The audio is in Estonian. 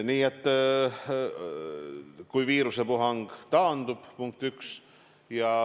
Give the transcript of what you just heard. Nii et siis, kui viirusepuhang taandub, punkt üks.